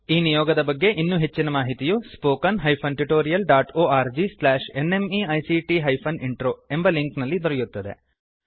ಈ ನಿಯೋಗದ ಬಗ್ಗೆ ಇನ್ನೂ ಹೆಚ್ಚಿನ ಮಾಹಿತಿಯು spoken hyphen tutorial dot O R G slash N M E I C T hyphen intro ಎಂಬ ಲಿಂಕ್ ನಲ್ಲಿ ದೊರೆಯುತ್ತದೆ